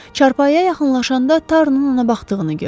Çarpayıya yaxınlaşanda Tarunun ona baxdığını gördü.